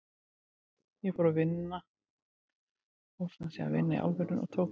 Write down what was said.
Ég fór sem sé að vinna í álverinu og tók mig á.